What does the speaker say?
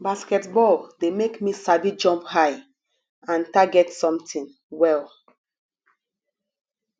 basketball de make me sabi jump high and target something well